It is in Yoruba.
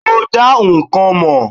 Ó dá nǹkan mọ̀.